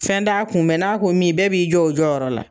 Fɛn da kun n'a ko min bɛɛ b'i jɔ o jɔyɔrɔ la.